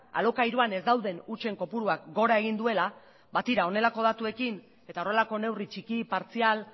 alokairuan ez dauden hutsen kopuruak gora egin duela ba tira honelako datuekin eta horrelako neurri txiki partzial